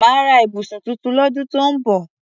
Màá ra ibùsùn tuntun lọ́dún tó ń bọ̀